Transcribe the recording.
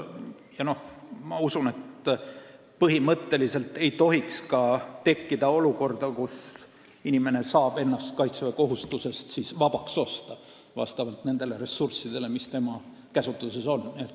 Ja ma usun, et põhimõtteliselt ei tohiks tekkida ka olukorda, kus inimene saab ennast kaitseväekohustusest vabaks osta nende ressursside abil, mis tema käsutuses on.